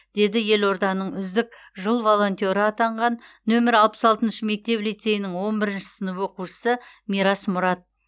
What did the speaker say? деді елорданың үздік жыл волонтеры атанған нөмірі алпыс алтыншы мектеп лицейінің он бірінші сынып оқушысы мирас мұрат